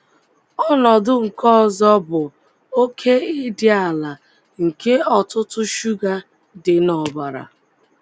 Ọnọdụ nke ọzọ bụ oké ịdị ala nke ọ̀tụ̀tụ̀ shuga dị n’ọbara.